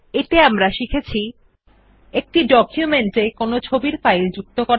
এতে আমরা শিখেছি একটি ডকুমেন্ট এ একটি ইমেজ ফাইল যুক্ত করা